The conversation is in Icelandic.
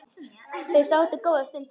Þau sátu góða stund þögul.